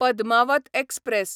Padmaavat express